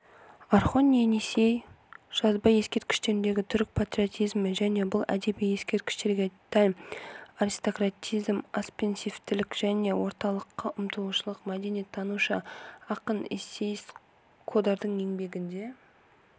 орхон-енисей жазба ескерткіштеріндегі түрік патриотизмі және бұл әдеби ескерткіштерге тән аристократизм экспансивтілік және орталыққа ұмтылушылық мәдениеттанушы ақын эссеист қодардың еңбегінде